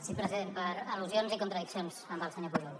sí president per al·lusions i contradiccions amb el senyor pujol